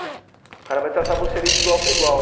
O cara vai tratar você ali de igual para igual.